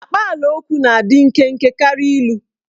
Akpaalaokwu na-adị nkenke karịa ilu.